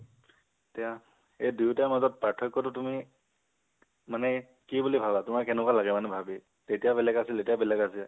এতিয়া, সেই দুতাৰ মাজত পাৰ্থক্য টো তুমি, মনে কি বুলি ভাবা, তোমাৰ কেনেকুৱা লগে মানে ভাবি, তেতিয়া বেলেগ আছিল এতিয়া বেলেগ আছে।